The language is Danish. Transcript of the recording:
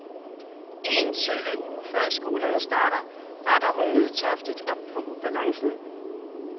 Én sølle uge før skolerne starter retter Hun nødtørftigt op på ubalancen.